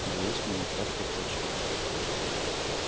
боюсь мы на шаткой почве